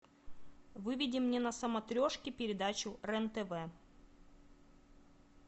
выведи мне на смотрешке передачу рен тв